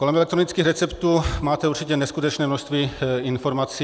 Kolem elektronických receptů máte určitě neskutečné množství informací.